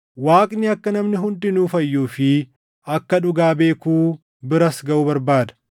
Waaqni akka namni hundinuu fayyuu fi akka dhugaa beekuu biras gaʼu barbaada.